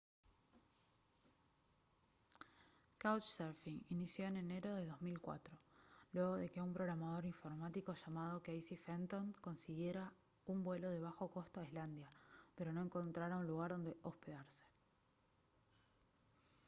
couchsurfing inició en enero de 2004 luego de que un programador informático llamado casey fenton consiguiera un vuelo de bajo costo a islandia pero no encontrara un lugar donde hospedarse